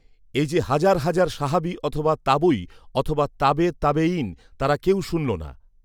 এ যে হাজার হাজার সাহাবী অথবা তাবৈ, অথবা তাবে তাবেইন, তারা কেউ শুনল না।